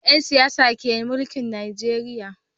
Yansiyasa ke mulkar Nigeria